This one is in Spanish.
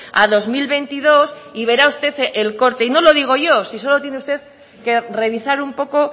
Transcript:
a dos mil veintidós y verá usted el corte y no lo digo yo si solo tiene usted que revisar un poco